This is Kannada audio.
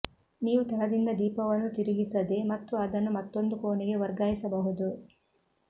ನೀವು ತಳದಿಂದ ದೀಪವನ್ನು ತಿರುಗಿಸದೆ ಮತ್ತು ಅದನ್ನು ಮತ್ತೊಂದು ಕೋಣೆಗೆ ವರ್ಗಾಯಿಸಬಹುದು